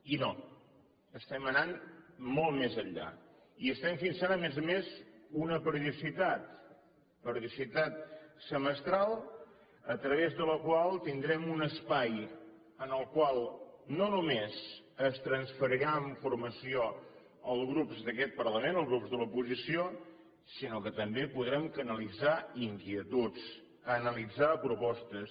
i no estem anant molt més enllà i estem fixant a més a més una periodicitat periodicitat semestral a través de la qual tindrem un espai en el qual no només es transferirà informació als grups d’aquest parlament als grups de l’oposició sinó que també podrem canalitzar inquietuds analitzar propostes